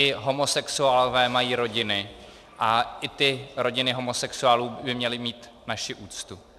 I homosexuálové mají rodiny a i ty rodiny homosexuálů by měly mít naši úctu.